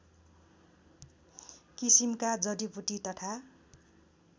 किसिमका जडिबुटी तथा